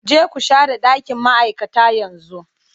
Je ku share ɗakin ma'aikata yanzu!